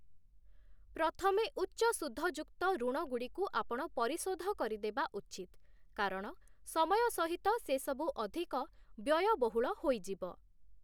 ପ୍ରଥମେ ଉଚ୍ଚ ସୁଧ-ଯୁକ୍ତ ଋଣଗୁଡ଼ିକୁ ଆପଣ ପରିଶୋଧ କରିଦେବା ଉଚିତ, କାରଣ ସମୟ ସହିତ ସେ ସବୁ ଅଧିକ ବ୍ୟୟବହୁଳ ହୋଇଯିବ ।